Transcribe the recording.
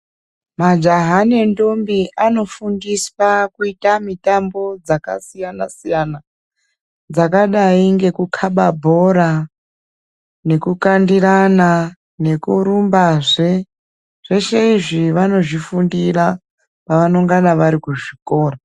Majaha nentombi anofundiswa kuita mitambo dzakasiyana siyana , dzakadai ngekukhaba bhora, nekukandirana , nekurumbazve. Zveshe izvi vanozvifundira pavanongana varikuzvikora.